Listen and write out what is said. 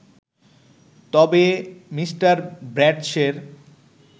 তবে মি ব্র্যাডশের